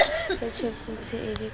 e tshopodi e le ka